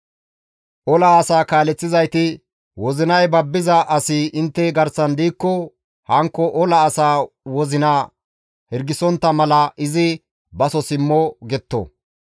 Ola asaa kaaleththizayti, «Wozinay babbiza asi intte garsan diikko hankko ola asaa wozina hirgisontta mala izi baso simmo» getto.